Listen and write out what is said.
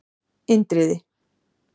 Indriði